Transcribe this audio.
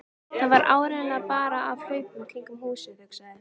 Það var áreiðanlega bara af hlaupunum kringum húsið, hugsaði